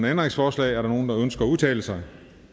ændringsforslag er der nogen der ønsker at udtale sig